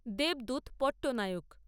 Debdut Patnaik